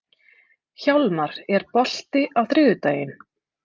Hjálmar, er bolti á þriðjudaginn?